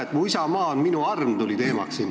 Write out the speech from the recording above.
Siin tuli teemaks "Mu isamaa on minu arm".